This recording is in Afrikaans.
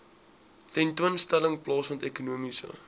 tentoonstelling plaasvind ekonomiese